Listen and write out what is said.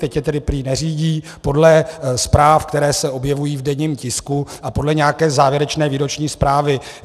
Teď je tedy prý neřídí podle zpráv, které se objevují v denním tisku a podle nějaké závěrečné výroční zprávy.